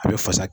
A bɛ fasa